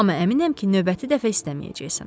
Amma əminəm ki, növbəti dəfə istəməyəcəksən.